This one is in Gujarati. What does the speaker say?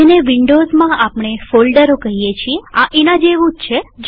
જેને વિન્ડોવ્ઝમાં આપણે ફોલ્ડરો કહીએ છીએ આ એના જેવું છે